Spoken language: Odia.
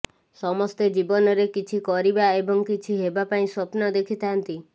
ସମସ୍ତେ ଜୀବନରେ କିଛି କରିବା ଏବଂ କିଛି ହେବା ପାଇଁ ସ୍ୱପ୍ନ ଦେଖିଥାନ୍ତି